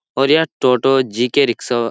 और यह टोटो जी.के. रिक्शा --